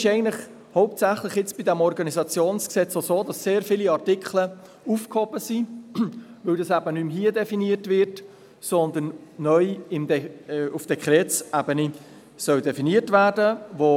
Deshalb ist es beim OrG hauptsächlich auch so, dass sehr viele Artikel aufgehoben sind, weil dies eben nicht mehr hier, sondern neu auf Dekretsebene definiert werden soll.